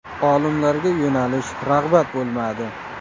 Olimlarga yo‘nalish, rag‘bat bo‘lmadi.